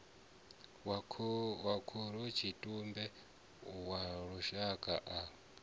wa khorotshitumbe wa lushaka a